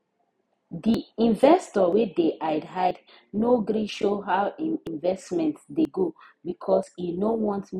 the investor wey dey hide hide no gree show how him investment dey go because e no want make people judge am